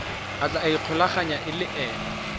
a tla ikgolaganyang le ena